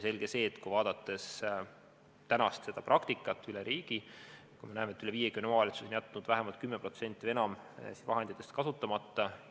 Selge see, kui vaadata tänast praktikat üle riigi, siis me näeme, et üle 50 omavalitsuse on jätnud vähemalt 10% või enam nendest vahenditest kasutamata.